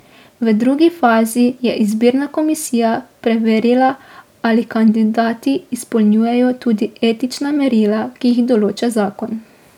V drugi fazi je izbirna komisija preverila, ali kandidati izpolnjujejo tudi etična merila, ki jih določa zakon.